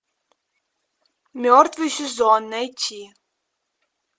мертвый сезон найти